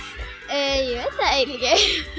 ég veit það eiginlega ekki